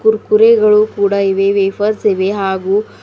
ಕುರ್ಕುರೆಗಳು ಕೂಡ ಇವೆ ವೇಫರ್ಸ್ ಇವೆ ಹಾಗು--